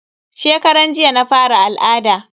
Shekaran jiya na fara al'ada.